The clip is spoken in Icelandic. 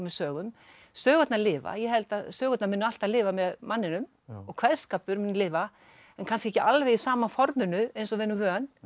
sögum sögurnar lifa ég held að sögurnar muni alltaf lifa með manninum og kveðskapur mun lifa en kannski ekki alveg í sama forminu eins og við erum vön